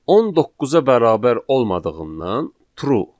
10 9-a bərabər olmadığından true.